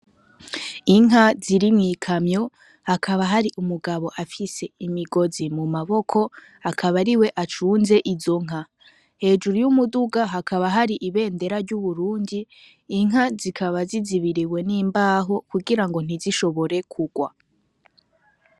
Inka ziri mu ikamyo hakaba hari umugabo afise imigozi mu maboko akaba ariwe acunze izo nka kejuru y'umuduga hakaba hari ibendera ry'uburundi inka zikaba zizibiriwe n'imbaho kugirango ntizishobore kurwa.